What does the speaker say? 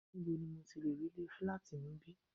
Níbo ni mo ti lẹ̀ rí ilé fílátì níbí?